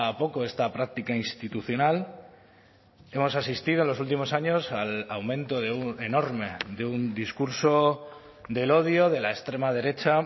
poco esta práctica institucional hemos asistido en los últimos años al aumento de un enorme de un discurso del odio de la extrema derecha